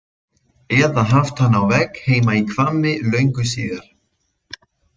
Eða haft hann á vegg heima í Hvammi löngu síðar.